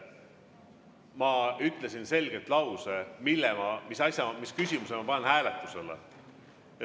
Ma ütlesin selgelt lause, mis küsimuse ma panen hääletusele.